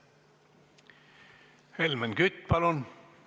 Helmen Kütt, palun!